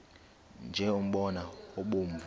nje umbona obomvu